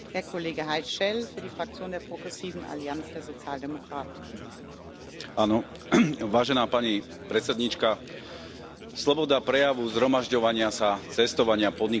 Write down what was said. Pani predsedajúca, sloboda prejavu, zhromažďovania sa, cestovania, podnikania, ale hlavne slobodné voľby sú výdobytky Nežnej revolúcie a demokratických zmien v Európe.